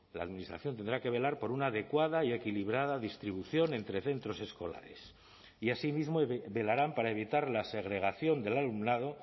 la administración tendrá que velar por una adecuada y equilibrada distribución entre centros escolares y asimismo velarán para evitar la segregación del alumnado